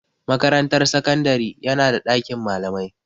Makarantar sakandari yana da ɗakin malamai.